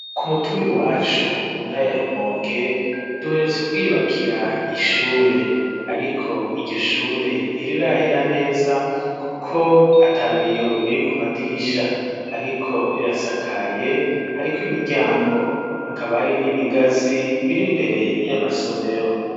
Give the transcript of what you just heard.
Ku mutumbi wacu mu ntara ya Rumonge duheretse kwiyubakira ishure, ariko iryo shure ntirirahera neza kuko atabiyo biri ku madirisha ,ariko rirasakaye hariko imiryango, hakaba ari n'ibigazi biri mbere y'amasomero.